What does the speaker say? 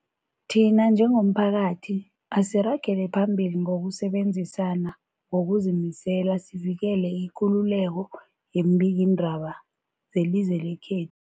Thina njengomphakathi, asiragele phambili ngokusebenzisana ngokuzimisela sivikele ikululeko yeembikiindaba zelizwe lekhe